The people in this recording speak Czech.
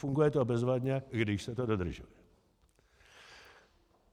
Funguje to bezvadně, když se to dodrží.